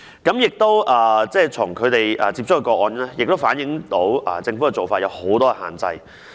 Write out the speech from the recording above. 風雨蘭接觸的個案亦反映出政府的做法有很多限制。